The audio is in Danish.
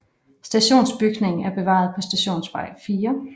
Stationsbygningen er bevaret på Stationsvej 4